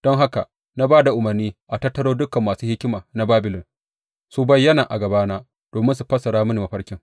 Don haka na ba da umarni a tattaro dukan masu hikima na Babilon su bayyana a gabana domin su fassara mini mafarkin.